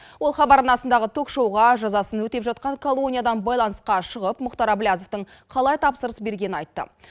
ол хабар арнасындағы ток шоуға жазасын өтеп жатқан колониядан байланысқа шығып мұхтар әблязовтың қалай тапсырыс бергенін айтты